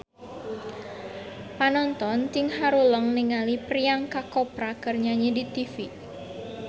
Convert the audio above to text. Panonton ting haruleng ningali Priyanka Chopra keur nyanyi di tipi